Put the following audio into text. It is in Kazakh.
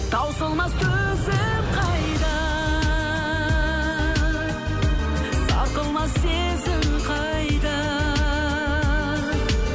таусылмас төзім қайда сарқылмас сезім қайда